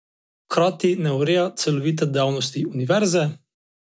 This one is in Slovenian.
Hkrati ne ureja celovite dejavnosti univerze.